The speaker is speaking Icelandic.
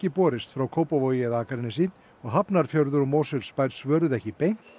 borist frá Kópavogi eða Akranesi og Hafnarfjörður og Mosfellsbær svöruðu ekki beint